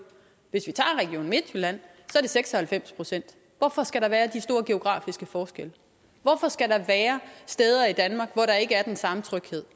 hvis vi tager region midtjylland er det seks og halvfems procent hvorfor skal der være de store geografiske forskelle hvorfor skal der være steder i danmark hvor der ikke er den samme tryghed